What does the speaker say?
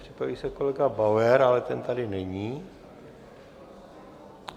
Připraví se kolega Bauer, ale ten tady není.